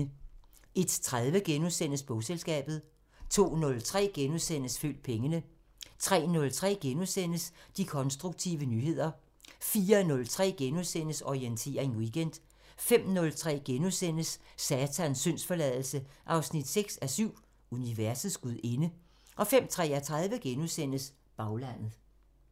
01:30: Bogselskabet * 02:03: Følg pengene * 03:03: De konstruktive nyheder * 04:03: Orientering Weekend * 05:03: Satans syndsforladelse 6:7 – Universets gudinde * 05:33: Baglandet *